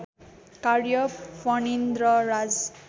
कार्य फणीन्द्रराज